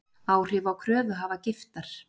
Áhrif á kröfuhafa Giftar